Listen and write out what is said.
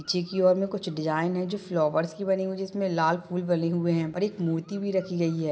और मे कुछ डिज़ाइन है जो की फ्लावर्स से बने हुए है जिसमे लाल फुल बने हुए है और एक मूर्ति भी रखी गई है।